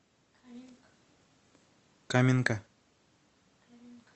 каменка